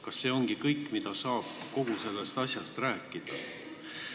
Kas see ongi kõik, mida saab kogu sellest asjast rääkida?